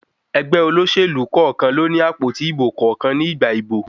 Ẹgbẹ́ olóṣèlú kọ̀ọ̀kan ló ní àpótí ìbò kọ̀ọ̀kan ní ìgbà ìbò.